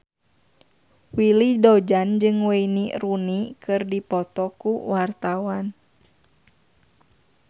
Willy Dozan jeung Wayne Rooney keur dipoto ku wartawan